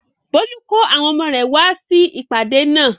Bólú kó àwọn ọmọ rẹ̀ wá sí ìpàdé náà?